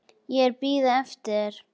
Ég er að bíða eftir þér.